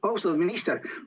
Austatud minister!